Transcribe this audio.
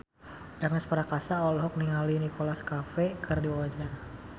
Ernest Prakasa olohok ningali Nicholas Cafe keur diwawancara